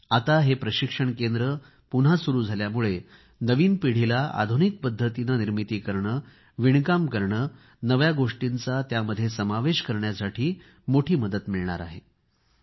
आता हे प्रशिक्षण केंद्र पुन्हा सुरू झाल्यामुळे नवीन पिढीला आधुनिक पद्धतीने निर्मिती करणे कापड विणणे नव्या गोष्टींचा त्यामध्ये समावेश करण्यासाठी मोठी मदत मिळणार आहे